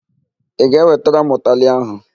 Ị ga-ewetara m ụtalị áhụ̀?